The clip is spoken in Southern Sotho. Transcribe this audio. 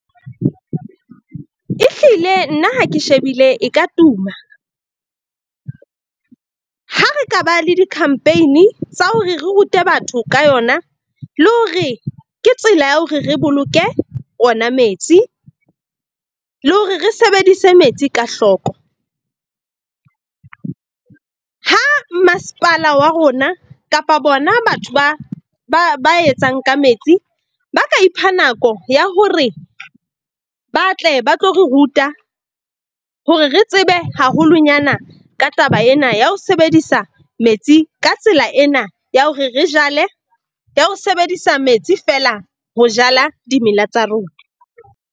Ehlile nna ha ke shebile e ka tuma ha re ka ba le di-campaign-i tsa hore re rute batho ka yona, le hore ke tsela ya hore re boloke ona metsi le hore re sebedise metsi ka hloko. Ha masepala wa rona kapa bona batho ba etsang ka metsi ba ka ipha nako ya hore ba tle ba tlo re ruta hore re tsebe haholonyana ka taba ena ya ho sebedisa metsi. Ka tsela ena ya ho re re jale, ya ho sebedisa metsi feela ho jala dimela tsa rona.